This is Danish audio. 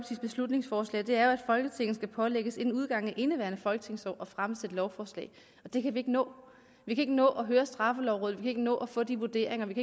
beslutningsforslag er jo at folketinget skal pålægges inden udgangen af indeværende folketingsår at fremsætte lovforslag og det kan vi ikke nå vi kan ikke nå at høre straffelovrådet vi kan ikke nå at få de vurderinger vi